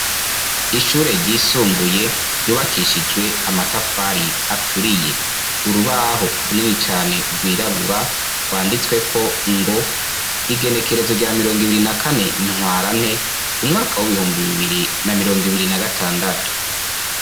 ishure ryisumbuye yubakishijwe amatafari aturiye urubaho runini cane rwirabura rwanditswe ko ngo igenekerezo rya mirongo ibiri na kane ntwarante umwaka w'ibihumbi bibiri na mirongo ibiri na gatandatu.